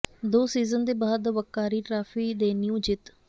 ਦੋ ਸੀਜ਼ਨ ਦੇ ਬਾਅਦ ਵੱਕਾਰੀ ਟਰਾਫੀ ਦੇ ਨਿਊ ਜਿੱਤ